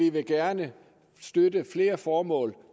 at vi gerne vil støtte flere formål